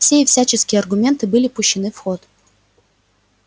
все и всяческие аргументы были пущены в ход